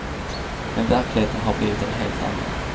Men verkligheten har blivit en helt annan.